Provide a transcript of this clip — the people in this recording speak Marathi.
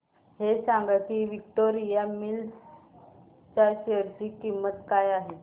हे सांगा की विक्टोरिया मिल्स च्या शेअर ची किंमत काय आहे